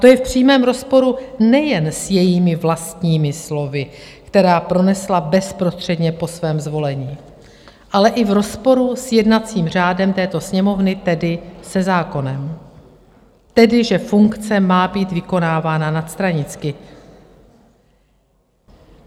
To je v přímém rozporu nejen s jejími vlastními slovy, která pronesla bezprostředně po svém zvolení, ale i v rozporu s jednacím řádem této Sněmovny, tedy se zákonem, tedy že funkce má být vykonávána nadstranicky.